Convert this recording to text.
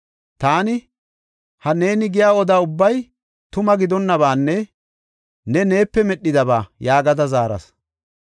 Taani, “Ha neeni giya oda ubbay tuma gidonnabaanne ne neepe medhidaba” yaagada zaaras.